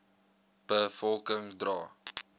be volking dra